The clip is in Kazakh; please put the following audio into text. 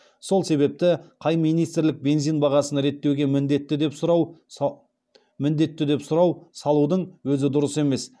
сол себепті қай министрлік бензин бағасын реттеуге міндетті деп сұрау салудың өзі дұрыс емес